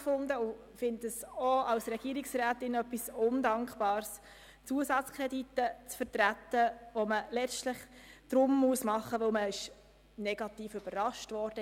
Ich finde es auch als Regierungsrätin sehr undankbar, Zusatzkredite zu vertreten, welche letztlich gesprochen werden müssen, weil man negativ überrascht wurde.